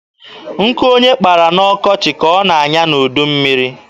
Nkụ onye kpara n'ọkọchị ka ọ na-anya n'udummiri.